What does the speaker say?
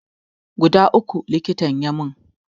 Guda uku likitan ya mun